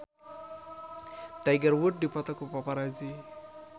Tiger Wood dipoto ku paparazi